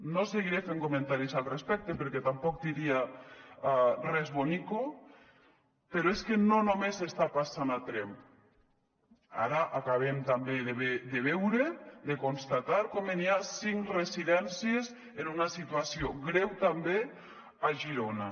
no seguiré fent comentaris al respecte perquè tampoc diria res bonico però és que no només està passant a tremp ara acabem també de veure de constatar com n’hi ha cinc residències en una situació greu també a girona